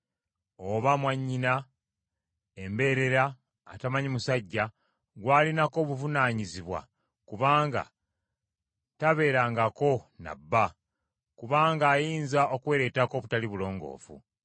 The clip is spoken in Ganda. oba mwannyina embeerera atamanyi musajja, gw’alinako obuvunaanyizibwa kubanga tabeerangako na bba, kubanga ayinza okwereetako obutali bulongoofu.